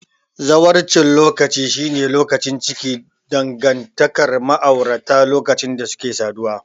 Zawarcin lokaci shine lokaci a cikin dangantakar ma'aurata lokacin da suke saduwa.